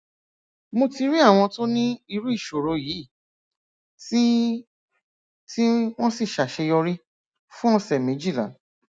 mo ti rí àwọn tó ní irú ìṣòro yìí tí tí wọn sì ṣàṣeyọrí fún ọsẹ méjìlá